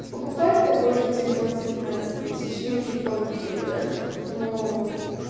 покупать такой же телефон за пятнадцать тысяч ну чуть получше уже да но